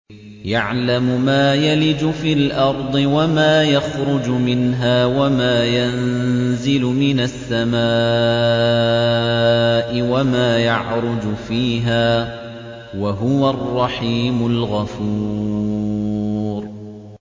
يَعْلَمُ مَا يَلِجُ فِي الْأَرْضِ وَمَا يَخْرُجُ مِنْهَا وَمَا يَنزِلُ مِنَ السَّمَاءِ وَمَا يَعْرُجُ فِيهَا ۚ وَهُوَ الرَّحِيمُ الْغَفُورُ